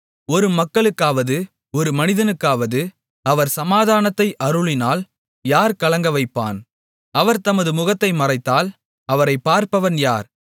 ஒரு மக்களுக்காவது ஒரு மனிதனுக்காவது அவர் சமாதானத்தை அருளினால் யார் கலங்கவைப்பான் அவர் தமது முகத்தை மறைத்தால் அவரைப் பார்ப்பவன் யார்